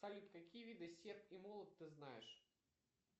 салют какие виды серп и молот ты знаешь